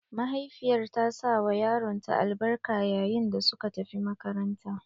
Mahaifiyar ta sawa yaronta albarka yayin da suka tafi makaranta.